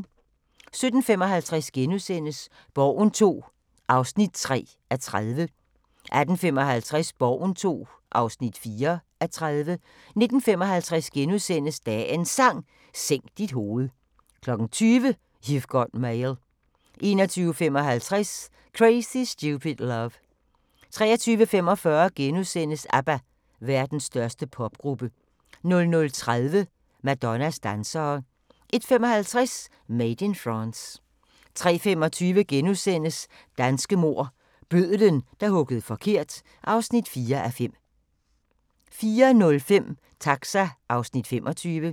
17:55: Borgen II (3:30)* 18:55: Borgen II (4:30) 19:55: Dagens Sang: Sænk dit hoved * 20:00: You've Got Mail 21:55: Crazy, Stupid , Love 23:45: ABBA – Verdens største popgruppe * 00:30: Madonnas dansere 01:55: Made in France 03:25: Danske mord – bødlen, der huggede forkert (4:5)* 04:05: Taxa (Afs. 25)